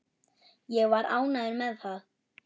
Ég var ánægður með það.